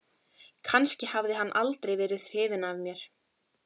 Kannski hafði hann aldrei verið hrifinn af mér.